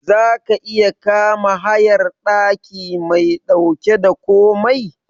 Zaka iya kama hayar daki mai dauke da komai?